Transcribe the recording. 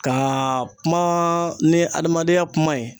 Ka kuma ni adamadenya kuma ye.